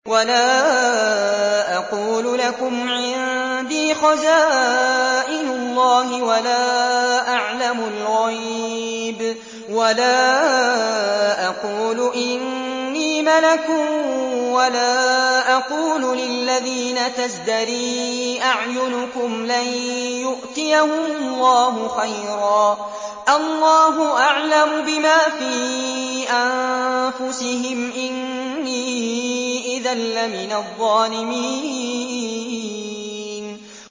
وَلَا أَقُولُ لَكُمْ عِندِي خَزَائِنُ اللَّهِ وَلَا أَعْلَمُ الْغَيْبَ وَلَا أَقُولُ إِنِّي مَلَكٌ وَلَا أَقُولُ لِلَّذِينَ تَزْدَرِي أَعْيُنُكُمْ لَن يُؤْتِيَهُمُ اللَّهُ خَيْرًا ۖ اللَّهُ أَعْلَمُ بِمَا فِي أَنفُسِهِمْ ۖ إِنِّي إِذًا لَّمِنَ الظَّالِمِينَ